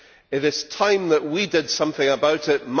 It is time that we did something about it.